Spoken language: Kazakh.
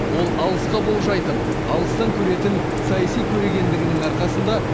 ол алысқа болжайтын алыстан көретін саяси көрегендігінің арқасында